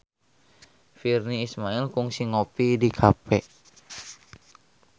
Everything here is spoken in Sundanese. Virnie Ismail kungsi ngopi di cafe